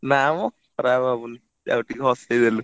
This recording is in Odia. ନା ମ ଖରାପ ଭାବୁନି ଯାହା ହଉ ଟିକେ ହସେଇଦେଲୁ।